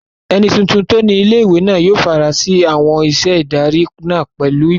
Ẹni tuntun tó ni ilé-ìwé náà yóò fara sí àwọn iṣẹ́ ìdarí náà pẹ̀lú ìgboyà